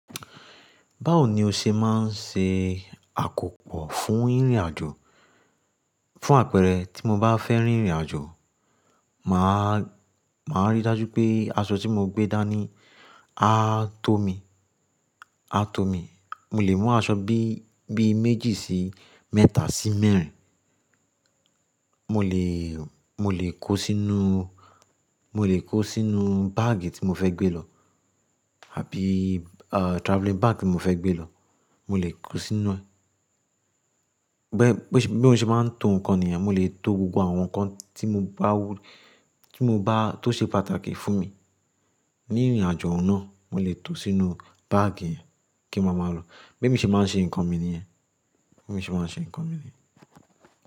Báwo ni o ṣe máa ń ṣe àkópọ̀ fún ìrìnàjò? Fún àpẹẹrẹ tí mo bá fẹ́ rin ìrìnàjò, mà á, mà á rí dájú pé aṣọ tí mo gbé dání á tó mi, á tó mi. Mo lè mú aṣọ bí, bí méjì sí mẹ́ta sí mẹ́rin. Mo lè, mo lè kó sínú, mo lè kó sínú báàgì tí mo fẹ́ gbé lọ àbí, à, travelling bag tí mo fẹ́ gbé lọ, mo lè kó sínú ẹ̀. Bẹ́, bí mo ṣe máa ń to ǹkan nìyẹn, mo lè to gbogbo àwọn nǹkan tí mo bá wù, tí mo bá tó ṣe pàtàkì fún mi ní ìrìnàjò náà, mo lè to sínú báàgì yẹn kí n máa máa lọ. Bẹ́ mi ṣe máa ń ṣe nǹkan mi nìyẹn. Bẹ́ mi ṣe máa ń ṣe nǹkan mi nìyẹn.